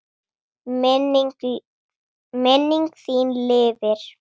Minning þín lifir.